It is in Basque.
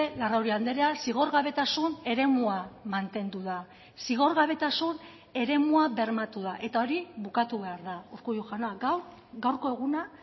larrauri andrea zigorgabetasun eremua mantendu da zigorgabetasun eremua bermatu da eta hori bukatu behar da urkullu jauna gaur gaurko eguna